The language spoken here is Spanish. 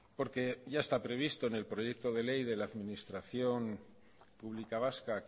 porque ya está previsto en el proyecto de ley de la administración pública vasca